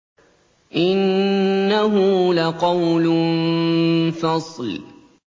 إِنَّهُ لَقَوْلٌ فَصْلٌ